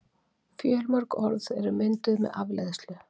Fjölmörg orð eru mynduð með afleiðslu.